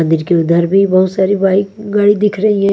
मंदिर के उधर भी बहुत सारी बाइक गाड़ी दिख रही है।